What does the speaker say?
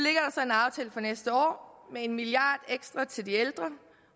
nu næste år med en milliard ekstra til de ældre